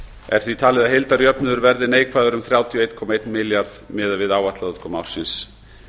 er því talið að heildarjöfnuður verði neikvæður um þrjátíu og einn komma einn milljarð miðað við áætlaða útkomu ársins